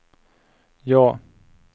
ja